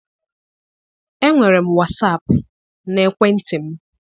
Enwere m wasap n'ekwentị m.